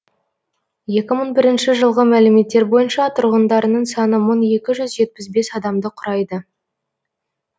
екі мың бірінші жылғы мәліметтер бойынша тұрғындарының саны мың екі жүз жетпіс бес адамды құрайды